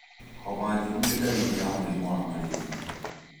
Homa njũru nĩ dalili ya mũrimũ wa malaria.